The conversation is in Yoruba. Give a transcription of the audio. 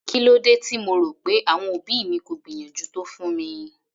Kílódé tí mo rò pé àwọn òbí mi kò gbìyànjú tó fún mi?